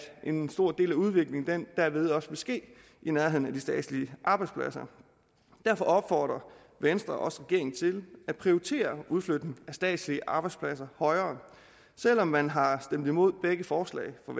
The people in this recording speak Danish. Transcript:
en stor del af udviklingen derved også vil ske i nærheden af de statslige arbejdspladser derfor opfordrer venstre også regeringen til at prioritere udflytning af statslige arbejdspladser højere selv om man har stemt imod begge forslag fra